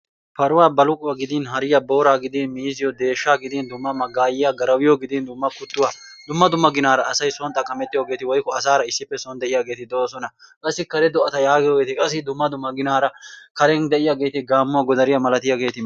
paruwaa balluquwaa gidin haariyaa booraa giidin miizziyoo deshshaa gidin dumma maggayiyaa garawiyoo gidin dumma kuttuwaa dumma ginnaara asay son xaqammettiyoogeti woykko asaara issippe son de'iyaageti doosona. Qassi kare do'ata giyoogeti qassi dumma dumma ginnaara karen d'iyaageti gaammuwaa godariyaa malatiyaageti.